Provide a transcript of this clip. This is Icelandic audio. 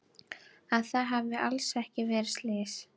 Að það hafi alls ekki verið slys.